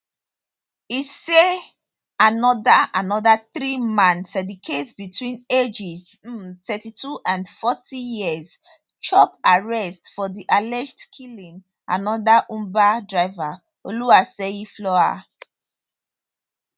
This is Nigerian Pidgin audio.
e say anoda anoda three man syndicate between ages um thirty two and forty years chop arrest for di alleged killing anoda uber driver oluwaseyi flower